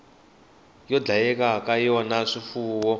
yo dlayela ka yona swifuwo